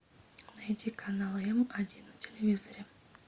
найди канал м один на телевизоре